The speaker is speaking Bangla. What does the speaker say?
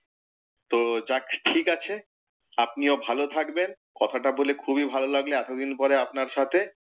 তো যাক ঠিকাছে, আপনিও ভালো থাকবেন। কথাটা বলে খুবই ভালো লাগলো এতদিন পরে আপনার সাথে।